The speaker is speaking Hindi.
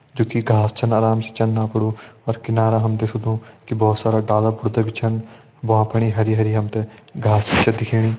जु की घास छन आराम से चन अपड़ु और किनार हम देख सकदु की भोत सारा डाला बुर्ता भी छन भ्वां फणी हरी हरी हम तें घास छे दिखेणी।